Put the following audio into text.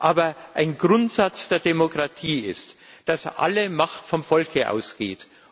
Aber ein Grundsatz der Demokratie ist, dass alle Macht vom Volke ausgeht.